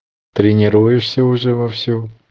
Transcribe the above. тренируешься уже во всю